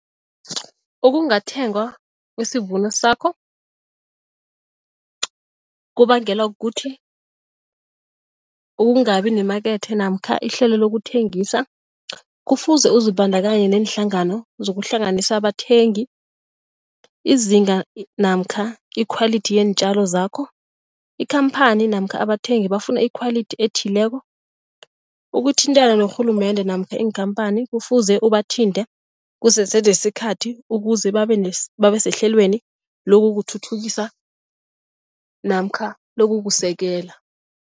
Ukungathengwa kwesivuno sakho kubangelwa kukuthi ukungabi nemakethe namkha ihlelo lokuthengisa. Kufuze uzibandakanye neenhlangano zokuhlanganisa abathengi izinga namkha ikhwalithi yeentjalo zakho. Ikhamphani namkha abathengi bafuna ikhwalithi ethileko ukuthintana norhulumende namkha iinkhamphani kufuze ubathinte kusese nesikhathi ukuze babe babe sehlelweni lokuthuthukisa namkha lokukusekela.